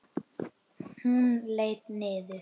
Hún leit niður.